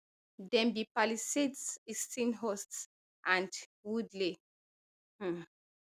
dem be palisades easton hurst and woodley um